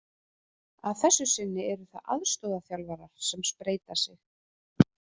Að þessu sinni eru það aðstoðarþjálfarar sem spreyta sig.